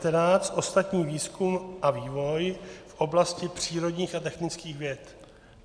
N619 - ostatní výzkum a vývoj v oblasti přírodních a technických věd.